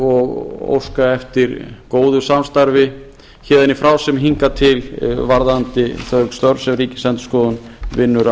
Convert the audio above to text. og óska eftir góðu samstarfi héðan í frá sem hingað til varðandi þau störf sem ríkisendurskoðun vinnur